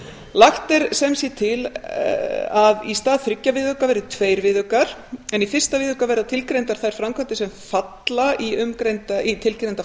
lagt er sem sé til að í stað þriggja viðauka verði tveir viðaukar í fyrsta viðauka verða tilgreindar þær framkvæmdir sem falla í tilgreinda flokka